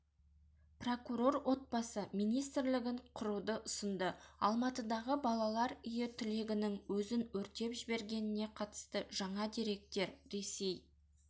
прокурор отбасы министрлігін құруды ұсынды алматыдағы балалар үйі түлегінің өзін өртеп жібергеніне қатысты жаңа деректер ресей